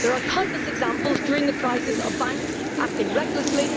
There have been countless examples during the crisis of banks acting recklessly.